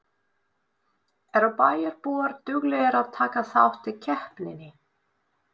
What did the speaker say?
Eru bæjarbúar duglegir að taka þátt í keppninni?